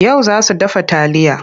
Yau za su dafa taliya.